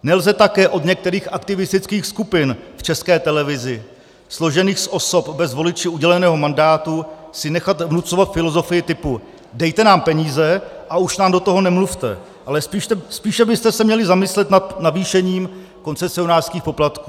Nelze také od některých aktivistických skupin v České televizi složených z osob bez voliči uděleného mandátu si nechat vnucovat filozofii typu "dejte nám peníze a už nám do toho nemluvte, ale spíše byste se měli zamyslet nad navýšením koncesionářských poplatků".